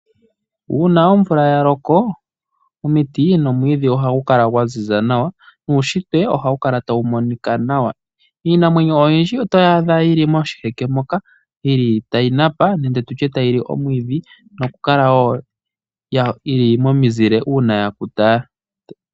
Uuna omvula yaloko omiti nomwiidhi ohagu kala gwaziza nawa nuushitwe ohawu kala tawu monika nawa. Iinamwenyo oyindji otoyaadha yili moshiheke moka yili tayi napa nenge tutye tayili omwiidhi nokukala wo yili momizile uuna yakuta.